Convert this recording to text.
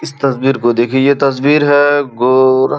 इस तस्वीर को देखिये ये तस्वीर है गोर --